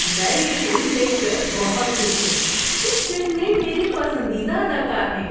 میں یہ فلم دیکھ کر بہت خوش ہوں۔ اس فلم میں میرے پسندیدہ اداکار ہیں۔